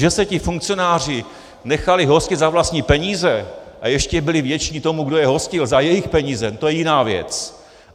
Že se ti funkcionáři nechali hostit za vlastní peníze a ještě byli vděční tomu, kdo je hostil za jejich peníze, to je jiná věc.